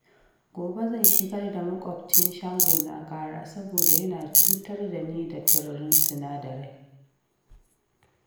Gobe zan shigar da maƙwabcin shagona ƙara, saboda yana cutar da ni da tururin sinadarai